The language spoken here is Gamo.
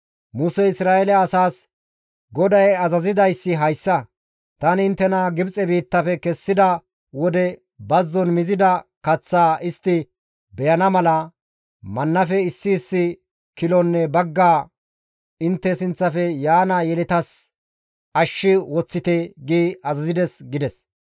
Musey Isra7eele asaas, «GODAY azazidayssi hayssa, ‹Tani inttena Gibxe biittafe kessida wode, bazzon mizida kaththaa istti beyana mala, mannafe issi issi kilonne bagga intte sinththafe yaana yeletatas ashshi woththite› gi azazides» gides.